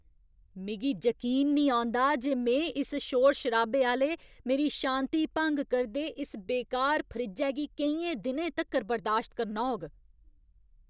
मिगी जकीन निं औंदा जे में इस शोर शराबे आह्‌ले, मेरी शांति भंग करदे इस बेकार फ्रिज्जै गी केइयें दिनें तक्कर बर्दाश्त करना होग!